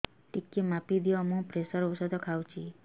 ଟିକେ ମାପିଦିଅ ମୁଁ ପ୍ରେସର ଔଷଧ ଖାଉଚି